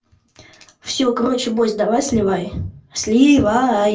всё короче бойс давай сливай сливай